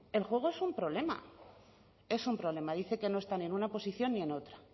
el juego es un problema es un problema dice que no están en una posición ni en otra